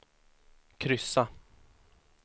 kryssa